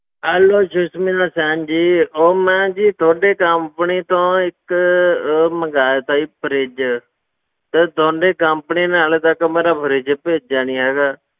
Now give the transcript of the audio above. Hello Sushmita Sen ji, ਉਹ ਮੈਂ ਜੀ ਤੁਹਾਡੇ company ਤੋਂ ਇੱਕ ਉਹ ਮੰਗਵਾਇਆ ਸੀ ਜੀ fridge ਤੇ ਤੁਹਾਡੀ company ਨੇ ਹਾਲੇ ਤੱਕ ਮੇਰਾ fridge ਭੇਜਿਆ ਨੀ ਹੈਗਾ।